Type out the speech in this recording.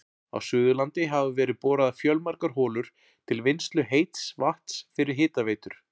Á Suðurlandi hafa verið boraðar fjölmargar holur til vinnslu heits vatns fyrir hitaveitur.